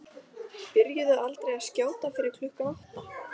Byrjuðu aldrei að skjóta fyrir klukkan átta.